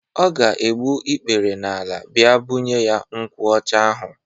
Ọ ga egbu ikpere n'ala bịa bunye ya nkwụ ọcha ahu.